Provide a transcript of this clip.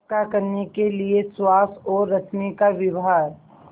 पक्का करने के लिए सुहास और रश्मि का विवाह